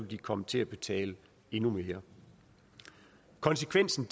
de komme til at betale endnu mere konsekvensen